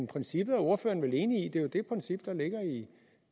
princippet er ordføreren vel enig